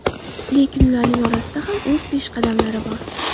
Lekin ularning orasida ham o‘z peshqadamlari bor.